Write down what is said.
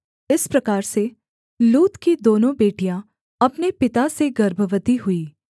इस प्रकार से लूत की दोनों बेटियाँ अपने पिता से गर्भवती हुईं